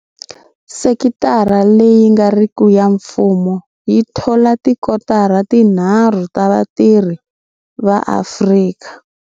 Sekitara leyi nga riki ya mfumo yi thola tikotara tinharhu ta vatirhi va Afrika.